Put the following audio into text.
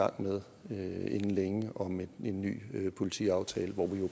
gang med inden længe om en ny politiaftale hvor vi